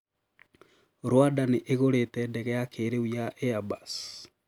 Rwanda niigurite ndege ya kiriu ya Airbus